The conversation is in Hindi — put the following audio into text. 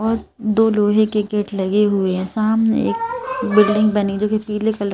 और दो लोहे के गेट लगे हुए हैं सामने एक बिल्डिंग बनी जो पीले--